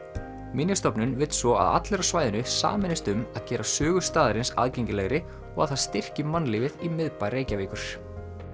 minjastofnun vill svo að allir á svæðinu sameinist um að gera sögu staðarins aðgengilegri og að það styrki mannlífið í miðbæ Reykjavíkur